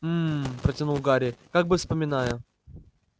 м-м-м протянул гарри как бы вспоминая